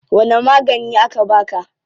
Wani magani aka baka?